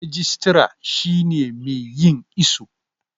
rijitara shi ne mai yin iso